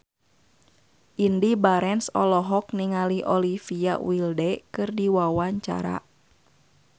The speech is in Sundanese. Indy Barens olohok ningali Olivia Wilde keur diwawancara